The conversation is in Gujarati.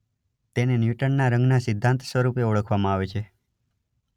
તેને ન્યૂટનના રંગના સિદ્ધાંત સ્વરૂપે ઓળખવામાં આવે છે.